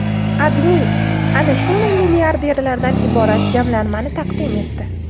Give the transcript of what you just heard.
AdMe ana shunday milliarderlardan iborat jamlanmani taqdim etdi .